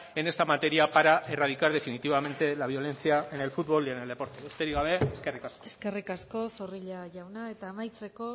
en esta materia para erradicar definitivamente la violencia en el futbol y en el deporte besterik gabe eskerrik asko eskerrik asko zorrilla jauna eta amaitzeko